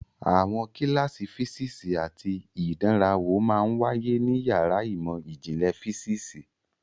Àwọn kíláàsì físíìsì àti ìdánrawò máa ń wáyé ní yàrá ìmọ̀ ìjìnlẹ̀ físíìsì.